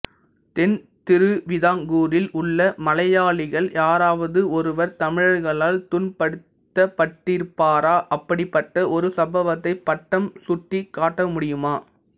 தென்திருவிதாங்கூரில் உள்ள மலையாளிகள் யாராவது ஒருவர் தமிழர்களால் துன்பப் படுத்தப்பட்டிருப்பரா அப்படிப்பட்ட ஒரு சம்பவத்தை பட்டம் சுட்டிக் காட்ட முடியுமா